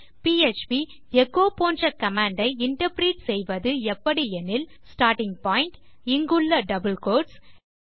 PHP echo போன்ற command ஐ interpret செய்வது எப்படி எனில் ஸ்டார்ட்டிங் பாயிண்ட் இங்குள்ள டபிள் கோட்ஸ்